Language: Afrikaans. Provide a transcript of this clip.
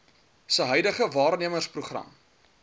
se huidige waarnemersprogram